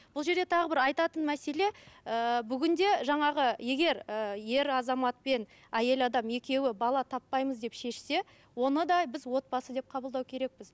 бұл жерде тағы бір айтатын мәселе ыыы бүгінде жаңағы егер ыыы ер азамат пен әйел адам екеуі бала таппаймыз деп шешсе оны да біз отбасы деп қабылдау керекпіз